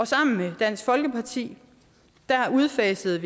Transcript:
sammen med dansk folkeparti udfasede